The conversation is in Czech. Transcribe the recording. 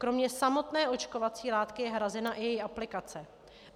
Kromě samotné očkovací látky je hrazena i její aplikace.